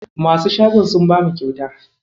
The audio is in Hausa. Masu shagon sun bamu kyauta.